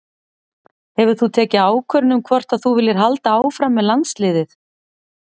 Hefur þú tekið ákvörðun um hvort að þú viljir halda áfram með landsliðið?